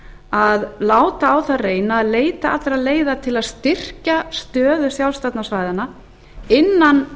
að láta á það reyna að leita allra leiða til að styrkja stöðu sjálfstjórnarsvæðanna innan